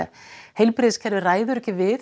heilbrigðiskerfið ræður ekki við